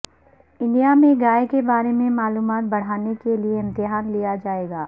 India میں گائے کے بارے میں معلومات بڑھانے کے لیے امتحان لیا جائے گا